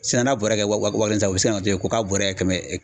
Sisan n'a bɔra kɛ wa wa kelen tan u bi se ka na f'e ye k'a bɔra yen kɛmɛ ye